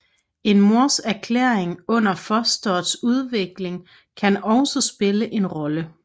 En mors ernæring under fostrets udvikling kan også spille en rolle